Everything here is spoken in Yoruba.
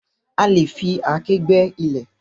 A lè fi àáké gbẹ́ ilẹ̀.